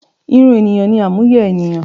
Irun ènìyàn ni àmúyẹ énìyàn